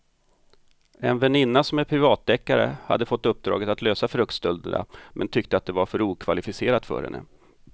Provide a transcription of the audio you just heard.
En väninna som är privatdeckare hade fått uppdraget att lösa fruktstölderna men tyckte att det var för okvalificerat för henne.